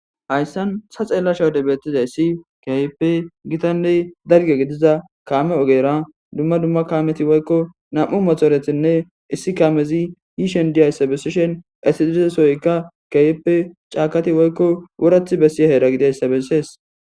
Haysan ta xelashe wode betizaysi kehipe gitane dalga gidiza kame ogera duma duma kameti woyko na'u motoretinne issi kamezi yishene diyaysa besishen eti diza sohoyka kehipe c'akati woyko worati besiyaysa hera gidiyaysa beses.